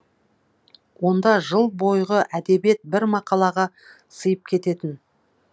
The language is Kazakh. онда жыл бойғы әдебиет бір мақалаға сыйып кететін